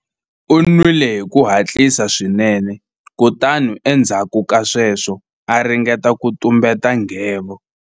U nwile hi ku hatlisa swinene kutani endzhaku ka sweswo a ringeta ku tumbeta nghevo.